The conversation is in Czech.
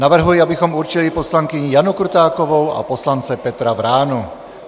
Navrhuji, abychom určili poslankyni Janu Krutákovou a poslance Petra Vránu.